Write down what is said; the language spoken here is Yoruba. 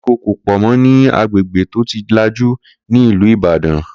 koríko ko pò mó ni agbègbè to tí lajú ni ìlú Ìbàdàn